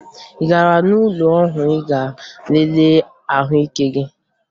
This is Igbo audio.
Ị gara ụlọọgwụ ịga lelee ahụike gị?